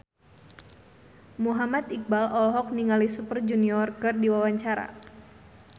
Muhammad Iqbal olohok ningali Super Junior keur diwawancara